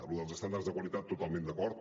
lo dels estàndards de qualitat totalment d’acord